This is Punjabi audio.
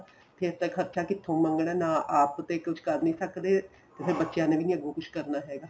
ਫੇਰ ਤਾਂ ਖ਼ਰਚਾ ਕਿੱਥੋ ਮੰਗਣਾ ਆਪ ਤਾਂ ਕੁੱਝ ਕਰ ਨੀਂ ਸਕਦੇ ਤੇ ਫੇਰ ਬੱਚਿਆਂ ਨੇ ਵੀ ਅੱਗੋ ਕੁੱਝ ਕਰਨਾ ਹੈਗਾ